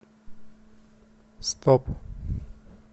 стоп